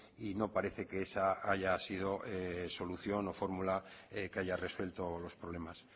y no parece que esa haya sido solución o fórmula que haya resuelto los problemas